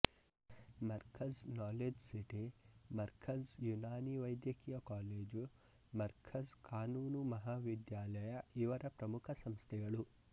Markaz knowledge city Markaz Unani ವೈದ್ಯಕೀಯ college Markaz ಕಾನೂನು ಮಹಾ ವಿದ್ಯಾಲಯ ಇವರ ಪ್ರಮುಖ ಸಂಸ್ಥೆಗಳು